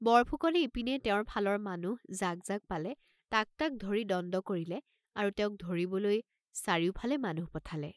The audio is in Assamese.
বৰফুকনে ইপিনে তেওঁৰ ফালৰ মানুহ যাক যাক পালে তাক তাক ধৰি দণ্ড কৰিলে আৰু তেওঁক ধৰিবলৈ চাৰিউফালে মানুহ পঠালে।